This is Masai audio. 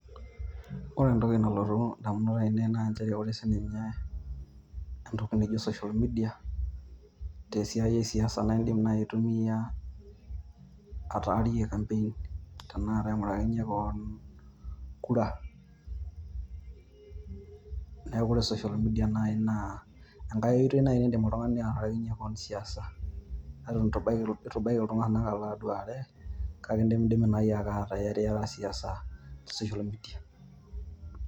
Ore entoki nalotu idamunot ainei naa nchere ore naaji entokit naijio social media tesiai esiasa naa iidim aingurakinyie kewon kura neeku ore social media naa engae oitoi naii neidm ataarakinyie kewon siasa Eton eitu ebaiki iltung'anak alo aduare kake idimi dimi naii ataa iyariyara siasa te social media